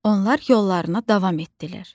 Onlar yollarına davam etdilər.